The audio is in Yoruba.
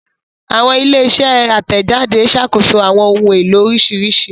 Awọn ile-iṣẹ atẹjade ṣakoso awọn ohun elo oriṣiriṣi